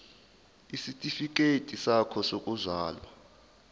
isitifikedi sakho sokuzalwa